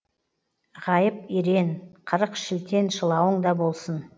ғайып ерен қырық шілтен шылауың да болсын